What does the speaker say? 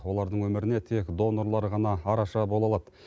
олардың өміріне тек донорлар ғана араша бола алады